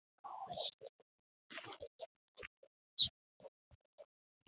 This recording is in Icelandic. Á hausnum er feldurinn einnig með svörtum og hvítum röndum.